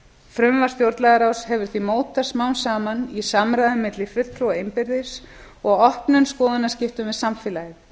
frumvarp stjórnlagaráðs hefur því mótast smám saman í samræðum milli fulltrúa innbyrðis og opnum skoðanaskiptum við samfélagið